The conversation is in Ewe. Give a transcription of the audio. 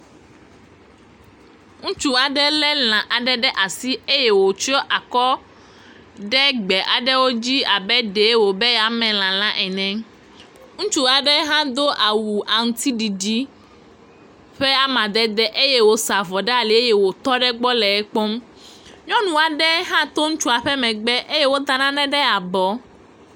Ŋutsu aɖe lé lã aɖe ɖe asi eye wòtsɔ akɔ ɖe gbe aɖewo dzi abe ɖee wòbe yeame lã la ene. Ŋutsu aɖe hã do awu aŋutiɖiɖi ƒe amadede eye wòsa avɔ ɖe ali eye wòtɔ ɖe egbɔ le ekpɔm. nyɔnu aɖe hã to ŋutsua ƒe megbe eye wota nane ɖe abɔ.